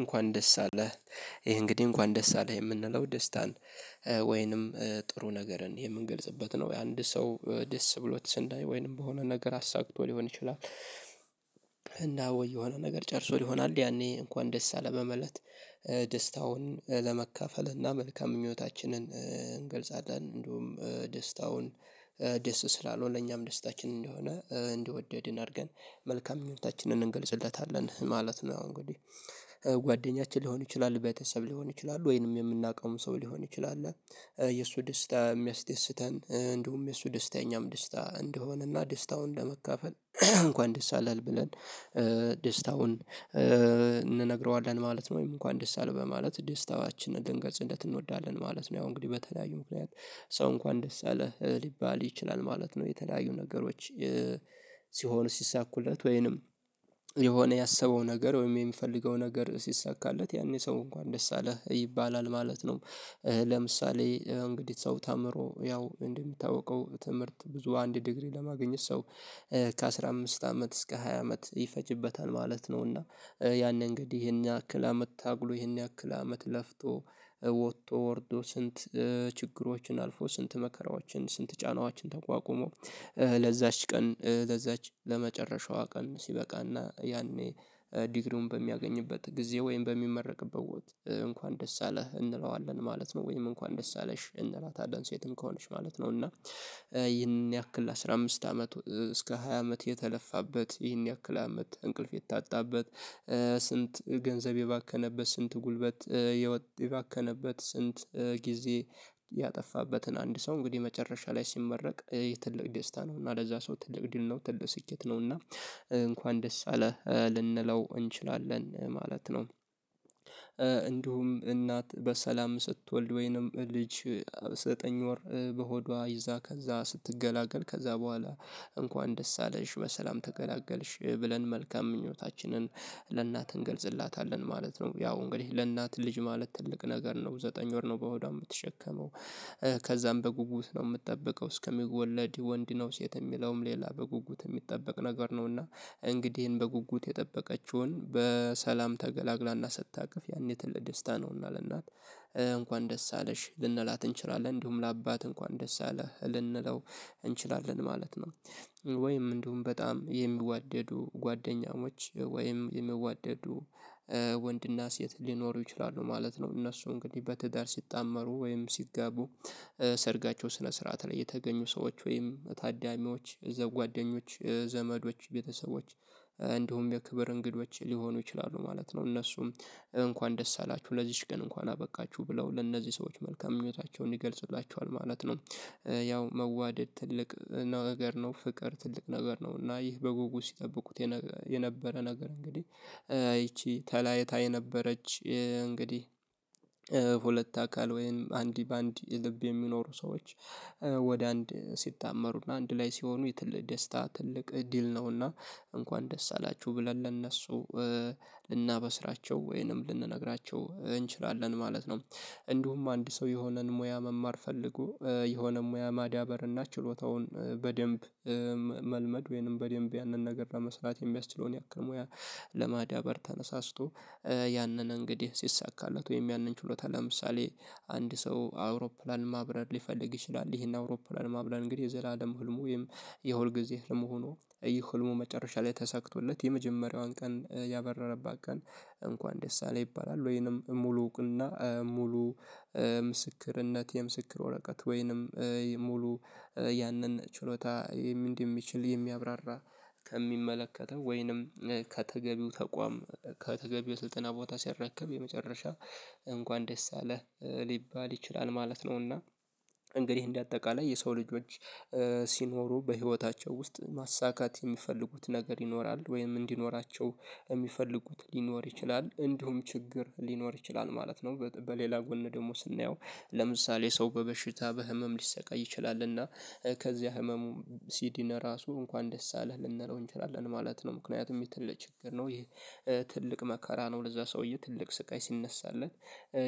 እንኳን ደስ አለህ ይሄ እንግዲህ እንኳን ደስ አለህ የምንለው ደስታን ወይንም ጥሩ ነገርን የምንገልጽበት ነው የአንድ ሰው ደስ ብሎት ስናይ ወይንም በሆነ ነገር አሳክቶ ሊሆን ይችላል። ወይ የሆነ ነገር ጨርሶ ይሆናል ያኔ እንኳን ደስ በማለት ደስታውን ለመካፈል እና መልካም ምኞታችንን እንገልጻለን እንደውም ደስታውን ደስ ስላለውነ ለኛም ደስታችን እንደሆነ እንደወደድ አድርገን መልካም ምኞታችንን እንገልጽለታለን ማለት ነው። እንግዲህ ጓደኛችን ሊሆን ይችላል ቤተሰብ ሊሆን ይችላል ወይንም የምናውቀውም ሰው ሊሆን ይችላል የእሱ ደስታ የሚያስደስተን እንደውም የእሱ ደስታ የኛም ደስታ እንደሆነ እና ደስታውን ለመካፈል እንኳን ደስ አላህ ብለን ደስታውን እንነግረዋለን ማለት ነው። ወይም እንኳን ደስ አለ በማለት ደስታዋችንን ልንገልጽለት እንወዳለን ማለት ነው። ያው እንግዲህ በተለያዩ ምክንያት ሰው እንኳን ደስ አለህ ሊባል ይችላል ማለት ነው የተለያዩ ነገሮች ሲሆን ሲሳኩለት ወይንም የሆነ ያሰበው ነገር ወይም የሚፈልገው ነገር ሲሳካለት ያኔ ሰው እንኳን ደስ አለህ ይባላል ማለት ነው። ለምሳሌ ያው እንግዲህ ሰው ተምሮ ያው እንደሚታወቀው ትምህርት ብዙ አንድ ዲግሪ ለማግኘት ሰው ከአሥራ አምስት አመት እስከ ሃያ አመት ይፈጅበታል ማለት ነው። እና ያንን እንግዲህ ይሄን ያክል አመት ታግሎ ይሄን ያክል አመት ለፍቶ ወቶ ወርዶ ስንት ችግሮችን አልፎ ስንት መከራዎችን ስንት ጫናዎችን ተቋቁሞ ለዛች ቀን ለዛች ለመጨረሻዋ ቀን ሲበቃ እና ያኔ ዲግሪውን በሚያገኝበት ጊዜ ወይም በሚመረቅበት ወቅት እንኳን ደስ አለህ እንለዋለን ማለት ነው። ወይም እንኳን ደስ አለሽ እንላታለን ሴትም ከሆነች ማለት ነው። እና ይህን ያክል አስራ አምስት አመት እስከ ሃያ አመት የተለፋበት ይህን ያክል አመት እንቅልፍ የታጣበት ስንት ገንዘብ የባከነበት ስንት ጉልበት የባከነበት ስንት ጊዜ ያጠፋበትን አንድ ሰው እንግዲህ መጨረሻ ላይ ሲመረቅ የትልቅ ደስታ ነው እና ለዛ ሰው ትልቅ ድል ነው ትልቅ ስኬት ነው እና እንኳን ደስ አለህ ልንለው እንችላለን ማለት ነው። እንዲሁም እናት በሰላም ስትወልድ ወይንም ልጅ ዘጠኝ ወር በሆዷ ይዛ ከዛ ስትገላገል ከዛ በኋላ እንኳን ደስ አለሽ በሰላም ተገላገልሽ ብለን መልካም ምኞታችንን ለእናት እንገልጽላታለን ማለት ነው። ያው እንግዲህ ለእናት ልጅ ማለት ትልቅ ነገር ነው ዘጠኝ ወር ነው በሆዷ የምትሸከመው ከዛም በጉጉት ነው ምጠብቀው እስከ ሚወለድ ወንድ ነው ሴት ሚለውም ሌላ በጉጉት የሚጠበቅ ነገር ነው። እና እንግዲህ ይሄን በጉጉት የጠበቀችውን በሰላም ተገላግላ እና ስታቅፍ ያኔ ትልቅ ደስታ ነው እና ለእናት እንኳን ደስ አለሽ ልንላት እንችላለን እንዲሁም ለአባት እንኳን ደስ አለህ ልንለው እንችላለን ማለት ነው። ወይም እንዲሁም በጣም የሚዋደዱ ጓደኛሞች ወይም የሚዋደዱ ወንድና ሴት ሊኖሩ ይችላሉ ማለት ነው እነሱ እንግዲህ በትዳር ሲጣመሩ ወይም ሲጋቡ ሰርጋቸው ስነ ስርዓት ላይ የተገኙ ሰዎች ወይም ታዳሚዎች እዛው ጓደኞች ዘመዶች ቤተሰቦች እንዲሁም የክብር እንግዶች ሊሆኑ ይችላሉ ማለት ነው። እነሱም እንኳን ደስ አላችሁ ለዚች ቀን እንኳን አበቃችሁ ብለው ለእነዚህ ሰዎች መልካም ምኞታቸውን ይገልጹላቸዋል ማለት። መዋደድ ትልቅ ነው ነገር ነው ፍቅር ትልቅ ነገር ነው እና ይህ በጉጉት ሲጠብቁት የነበረ ነገር እንግዲህ ይቺ ተላይታ የነበረች እንግዲህ ሁለት አካል ወይም አንድ በአንድ ልብ የሚኖሩ ሰዎች ወደ አንድ ሲጣመሩ እና አንድ ላይ ሲሆኑ የትልልቅ ደስታ ትልቅ እድል ነውና እንኳን ደስ አላችሁ ብለን ለእነሱ ልናበስራቸው ወይንም ልንነግራቸው እንችላለን ማለት ነው። እንዲሁም አንድ ሰው የሆነን ሞያ መማር ፈልጎ የሆነ ሞያ ማዳበር እና ችሎታውን በደንብ መልመድ ወይንም በደንብ ያንን ነገር ለመስራት የሚያስችለውን ያክል ሞያ ለማዳበር ተነሳስቶ ያንን እንግዲህ ሲሳካላት ወይም ያንን ችሎታ ለምሳሌ አንድ ሰው አውሮፕላን ማብረር ሊፈልግ ይችላል ይሄን አውሮፕላን ማብረር እንግዲህ የዘላለም ህልሙ ወይም የሁልጊዜ ህልሙ ሁኖ ይህ ህልሙ በመጨረሻ ላይ ተሰክቶለት የመጀመሪያዋን ቀን ያበረረባት ቀን እንኳን ደስ አለህ ይባላል። ወይንም ሙሉ እውቅና ሙሉ ምስክርነት የምስክር ወረቀት ወይንም ሙሉ ያንን ችሎታ እንደሚችል የሚያብራራ ከሚመለከተው ወይንም ከተገቢው ተቋም ከተገቢው ስልጠና ቦታ ሲረከብ የመጨረሻ እንኳን ደስ አለህ ሊባል ይችላል ማለት ነውና። እንግዲህ እንደ አጠቃላይ የሰው ልጆች ሲኖሩ በህይወታቸው ውስጥ ማሳካት የሚፈልጉት ነገር ይኖራል ወይም እንዲኖራቸው የሚፈልጉት ሊኖር ይችላል እንዲሁም ችግር ሊኖር ይችላል ማለት ነው። በሌላ ጎን ደግሞ ስናየው ለምሳሌ ሰው በበሽታ በህመም ሊሰቃይ ይችላል እና ከዚያ ህመሙ ሲድን ራሱ እንኳን ደስ አለህ ልንለው እንችላለን ማለት ነው። ምክንያቱም ይህ ትልቅ ችግር ነው ይህ ትልቅ መከራ ነው ለዛ ሰውዬ ትልቅ ስቃይ ሲነሳለት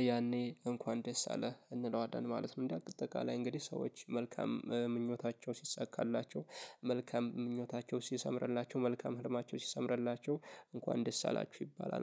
ያኔ እንኳን ደስ አለህ እንለዋለን ማለት ነው። እንደ አጠቃላይ እንግዲህ ሰዎች መልካም ምኞታቸው ሲሳካላቸው መልካም ምኞታቸው ሲሰምርላቸው መልካም ህልማቸው ሲሰምርላቸው እንኳን ደስ አላችሁ ይባላል